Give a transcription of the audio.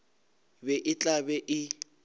be e tla be e